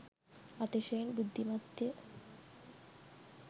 අතිශයෙන් බුද්ධිමත්ය.